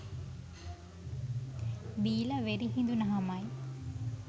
බීලා වෙරි හිඳුණහමයි